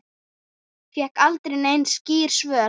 Fékk aldrei nein skýr svör.